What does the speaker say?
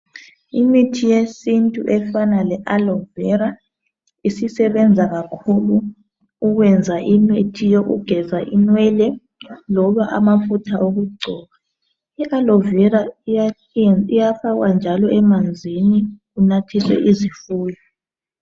Imithi yesintu efana le Aloe Vera isisebenza kakhulu ukwenza imithi yokugeza inwele, loba amafutha okugcoba.l Aloe Vera iyafakwa njalo emanzini kunathiswe izifuyo.